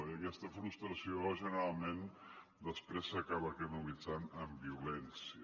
i aquesta frustració generalment després s’acaba canalitzant en violència